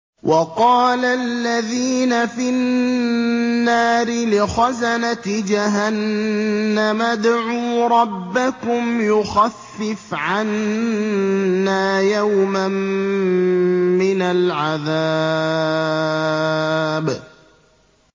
وَقَالَ الَّذِينَ فِي النَّارِ لِخَزَنَةِ جَهَنَّمَ ادْعُوا رَبَّكُمْ يُخَفِّفْ عَنَّا يَوْمًا مِّنَ الْعَذَابِ